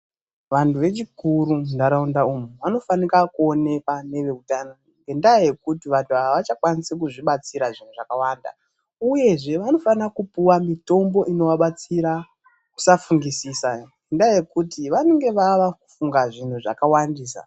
Vandu vechikuru mundaraunda umu vanofanika kuonekwa neveutano ngendaa yekuti vantu ava avachakwanisi kuzvibatsira zvinhu zvakawanda, uyezve vanofana kupihwa mitombo inovabatsira kusafungusisa ngendaa yekuti vanenge vava kufunga zvinhu zvakawandisa.